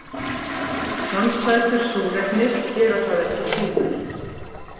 Samsætur súrefnis gera það ekki síður.